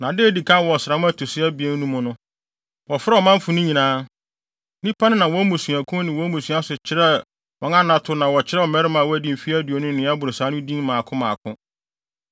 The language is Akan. na da a edi kan wɔ ɔsram a ɛto so abien no mu no, wɔfrɛɛ ɔmanfo no nyinaa. Nnipa no nam wɔn mmusuakuw ne wɔn mmusua so kyerɛɛ wɔn anato na wɔkyerɛw mmarima a wɔadi mfe aduonu ne nea ɛboro saa no din mmaako mmaako,